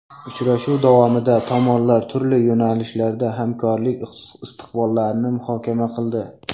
Uchrashuv davomida tomonlar turli yo‘nalishlarda hamkorlik istiqbollarini muhokama qildi.